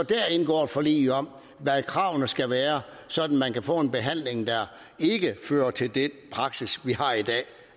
indgår et forlig om hvad kravene skal være sådan at man kan få en behandling der ikke fører til den praksis vi har i dag